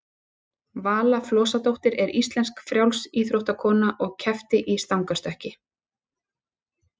vala flosadóttir er íslensk frjálsíþróttakona og keppti í stangarstökki